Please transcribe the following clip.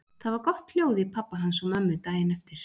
Það var gott hljóð í pabba hans og mömmu daginn eftir.